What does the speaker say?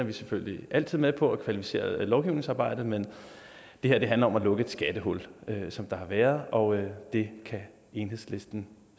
er selvfølgelig altid med på at kvalificere lovgivningsarbejdet men det her handler om at lukke et skattehul som der har været og det kan enhedslisten